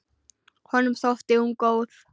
Honum þótti hún góð.